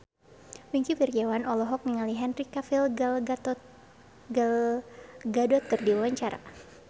Wingky Wiryawan olohok ningali Henry Cavill Gal Gadot keur diwawancara